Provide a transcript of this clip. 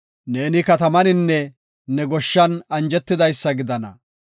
Ne katamaninne ne goshshan anjetidaysa gidana.